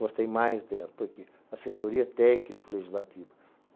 Gostei mais dela, porque assessoria técnico-legislativa.